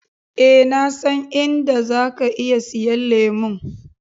Eh, na san in da zaka iya siyan lemu.